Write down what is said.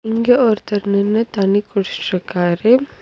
இங்க ஒருத்தர் நின்னு தண்ணி குடிஷ்ஷிஷ்ருக்காரு.